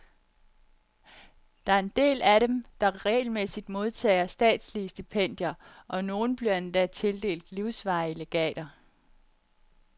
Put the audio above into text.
Der er en del af dem, der regelmæssigt modtager statslige stipendier, og nogle bliver endda tildelt livsvarige legater.